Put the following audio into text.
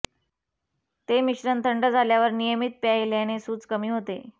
ते मिश्रण थंड झाल्यावर नियमित प्यायल्याने सूज कमी होते